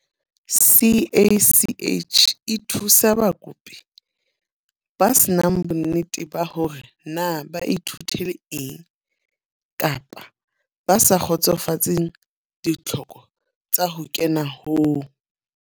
CACH e thusa bakopi ba se nang bonnete ba hore na ba ithutele eng jwang kapa ba sa kgotsofatseng ditlhoko tsa ho kena ho